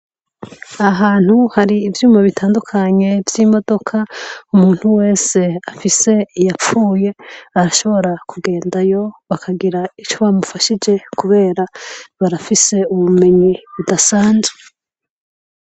Aha hantu hari ivyuma bitandukanye vy'imodoka, umuntu wese afise iyapfuye, arashobora kugendayo bakagira ico bamufashije kubera barafise ubumenyi budasanzwe.